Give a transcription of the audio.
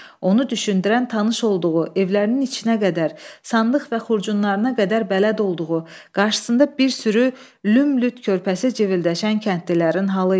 Onu düşündürən tanış olduğu, evlərinin içinə qədər, sandıq və xurcunlarına qədər bələd olduğu, qarşısında bir sürü lümlüt körpəsi cıvıldəşən kəndlilərin halı idi.